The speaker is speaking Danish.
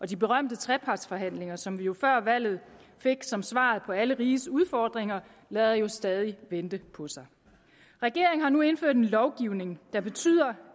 de berømte trepartsforhandlinger som vi jo før valget fik som svar på alle rigets udfordringer lader jo stadig vente på sig regeringen har nu indført en lovgivning der betyder